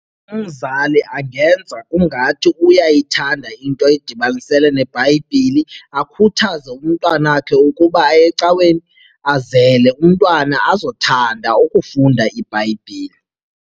Umzali angenza kungathi uyayithanda into edibanisele neBhayibhile akhuthaze umntwana wakhe ukuba aye ecaweni azele umntwana azothanda ukufunda iBhayibhile.